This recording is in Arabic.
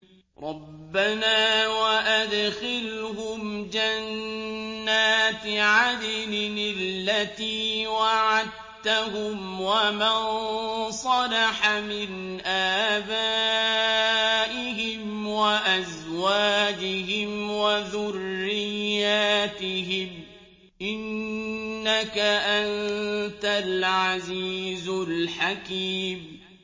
رَبَّنَا وَأَدْخِلْهُمْ جَنَّاتِ عَدْنٍ الَّتِي وَعَدتَّهُمْ وَمَن صَلَحَ مِنْ آبَائِهِمْ وَأَزْوَاجِهِمْ وَذُرِّيَّاتِهِمْ ۚ إِنَّكَ أَنتَ الْعَزِيزُ الْحَكِيمُ